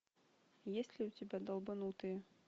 есть ли у тебя долбанутые